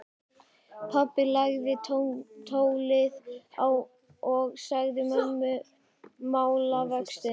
Pabbi lagði tólið á og sagði mömmu málavöxtu.